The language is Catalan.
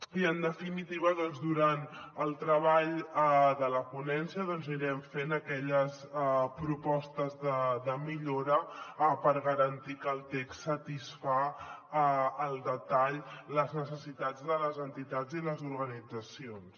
i en definitiva durant el treball de la ponència doncs anirem fent aquelles propostes de millora per garantir que el text satisfà al detall les necessitats de les entitats i les organitzacions